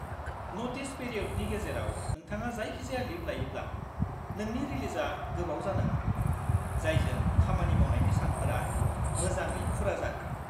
Notice पिरिय'दनि गेजेराव नोंथाङा जायखिजाया लिब लायोब्ला, नोंनि रिलिजआ गोबाव जानो हागौ, जायजों खामानि मावनायनि सानफोरा मोजाङै फुरा जाहैयो।